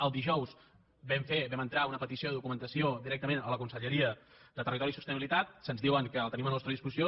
el dijous vam entrar una petició de documentació directament a la conselleria de territori i sostenibilitat se’ns diu que la tenim a la nostra disposició